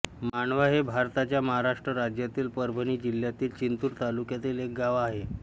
मांडवा हे भारताच्या महाराष्ट्र राज्यातील परभणी जिल्ह्यातील जिंतूर तालुक्यातील एक गाव आहे